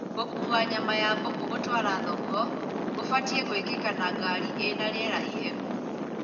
Gũkua nyama ya mbũkũ gũtwara thoko gũbatie gwĩkĩka na ngari ĩna rĩera ihehu